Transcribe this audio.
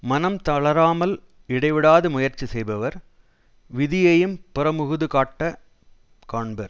மனம் தளராமல் இடைவிடாது முயற்சி செய்பவர் விதியையும் புறமுகுது காட்டக் காண்பர்